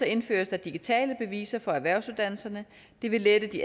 indføres der digitale beviser for erhvervsuddannelserne det vil lette de